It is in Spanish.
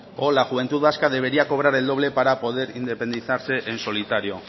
o la juventud vasca debería cobrar el doble para poder independizarse en solitario